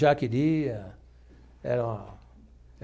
Já queria era.